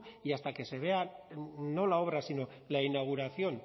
y hasta que se vea no la obra sino la inauguración